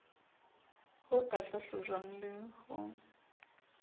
ho ka hlahlojwang le ho